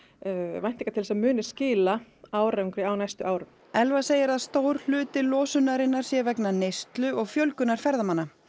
væntingar til að muni skila árangri á næstu árum Elva segir að stór hluti losunarinnar sé vegna neyslu og fjölgunar ferðamanna